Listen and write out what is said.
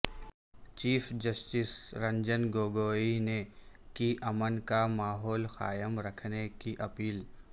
chief justice Ranjan Gogoi نے کی امن کا ماحول قائم رکھنے کی اپیل